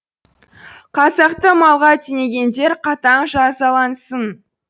қазақты малға теңегендер қатаң жазалансын